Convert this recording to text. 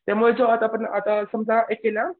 त्यामुळे जो आता आपण आता समजा हे केलं